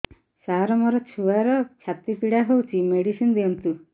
ସାର ମୋର ଛୁଆର ଛାତି ପୀଡା ହଉଚି ମେଡିସିନ ଦିଅନ୍ତୁ